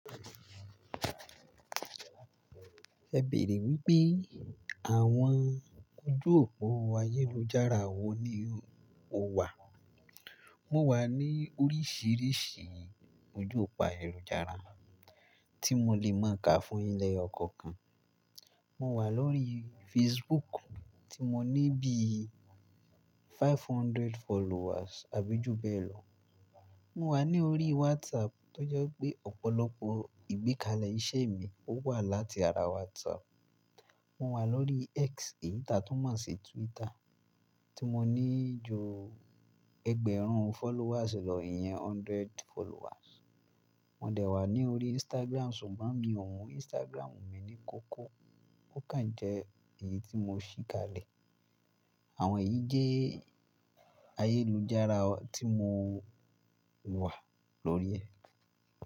Ẹ bèèrè wípé àwọn ojú òpó ayélujára wo ni o wà? Mo wà ní oríṣiríṣi ojú òpó ayélujára tí mo lè mọ̀ ká fún yín lẹ́yọ̀ ọkọ̀ kan. Mo wà lórí Facebook tí mo ní bíi ẹ̀ẹ́dẹ́gbẹ̀ta followers abi júbẹ́ẹ̀lọ. Mo wà ní orí WhatsApp tọ́je wípé ọ̀pọ̀lọpọ̀ ìgbékalẹ̀ iṣẹ́ mi wà láti ara WhatsApp. Mo wà lórí X, ìta tó mọ̀ sí Twitter tí mo ní ju ẹgbẹ̀rún followers lọ, ìyẹn hundred followers. Mò dẹ̀ wà ní orí Instagram ṣùgbọ́n mi ò mun Instagram mi ní kókó, ó kàn jẹ́ èyí tí mo ṣí kalẹ̀. Àwọn èyí jẹ́ ayélujára tí mo wà lórí rẹ̀